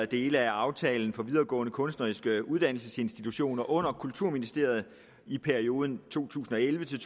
dele af aftalen for videregående kunstneriske uddannelsesinstitutioner under kulturministeriet i perioden to tusind og elleve til